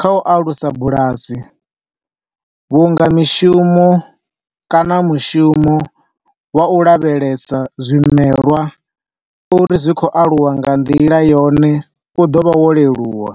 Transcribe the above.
kha u alusa bulasi vhunga mishumo kana mushumo wa u lavhelesa zwimelwa uri zwi khou aluwa nga nḓila yone u ḓo vha wo leluwa.